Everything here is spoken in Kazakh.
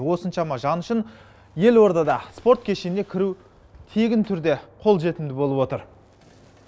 осыншама жан үшін елордада спорт кешеніне кіру тегін түрде қолжетімді болып отыр